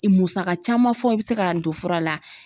Musaka caman fɔ i be se k'a don fura la.